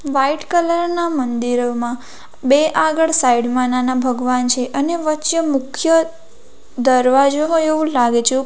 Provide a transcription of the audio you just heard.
white colour ના મંદિરોમાં બે આગળ સાઈડ માં નાના ભગવાન છે અને વચ્ચે મુખ્ય દરવાજો હોય એવું લાગે છે ઉપ --